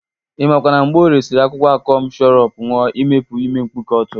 Ị makwa na Mgborie siri akwụkwọ akọm shọrup ṅụa imepu ime mpkuke ọ tụrụ?